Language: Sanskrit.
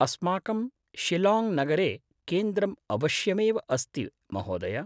अस्माकं शिलाङ्ग् नगरे केन्द्रम् अवश्यमेव अस्ति महोदय!